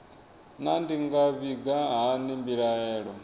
naa ndi nga vhiga hani mbilaelo